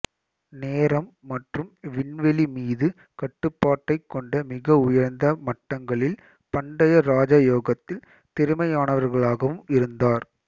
நேரம் மற்றும் விண்வெளி மீது கட்டுப்பாட்டைக் கொண்ட மிக உயர்ந்த மட்டங்களில் பண்டைய ராஜ யோகத்தில் திறமையானவராகவும் இருந்தார்